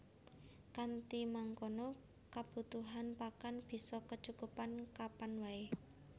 Kanthi mangkono kabutuhan pakan bisa kecukupan kapan waé